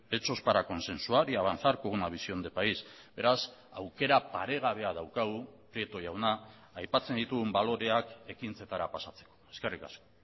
hechos para consensuar y avanzar con una visión de país beraz aukera paregabea daukagu prieto jauna aipatzen ditugun baloreak ekintzetara pasatzeko eskerrik asko